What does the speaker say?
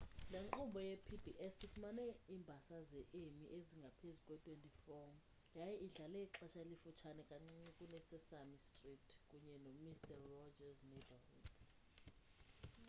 le nkqubo yepbs ifumene iimbasa ze-emmy ezingaphezu kwe-24 yaye idlale ixesha elifutshane kancinci kune-sesame street kunye nemister roger's neighborhood